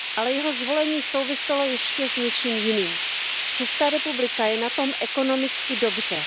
Ale jeho zvolení souviselo ještě s něčím jiným. Česká republika je na tom ekonomicky dobře.